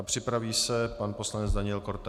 A připraví se pan poslanec Daniel Korte.